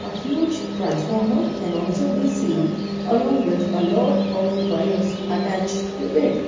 huge transformer can also be seen along with a lot of wires attached to it.